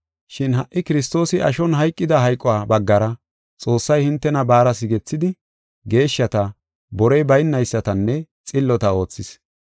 Shin ha77i Kiristoosi ashon hayqida hayquwa baggara Xoossay hintena baara sigethidi, geeshshata, borey baynaysatanne xillota oothis.